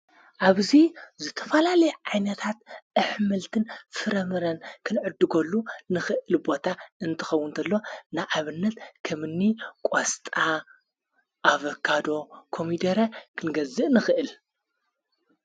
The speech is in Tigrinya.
ኣብዙይ ዘተፋላለየ ዓይነታት ኣኅምልትን ፍረምረን ክንዕድጐሉ ንኽእል ቦታ እንትኸው እንተሎ ንዓብነት ከምኒ ቋስጣ ኣብካዶ ኮሚደረ ክንገዝእ ንኽእል::